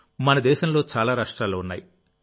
మన దేశంలో చాలా రాష్ట్రాలు ఉన్నాయి